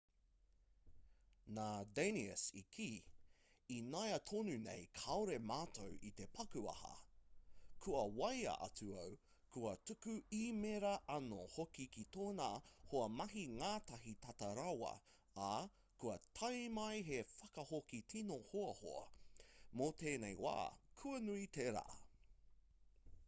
nā danius i kī ināiatonunei kāore mātou i te paku aha kua waea atu au kua tuku īmēra anō hoki ki tōna hoa mahi ngātahi tata rawa ā kua tae mai he whakahoki tino hoahoa mō tēnei wā kua nui tērā